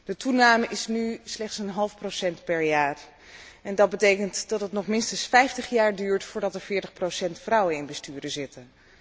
De toename is nu slechts een half procent per jaar en dat betekent dat het nog minstens 50 jaar duurt, voordat er 40 procent vrouwen in besturen zitten.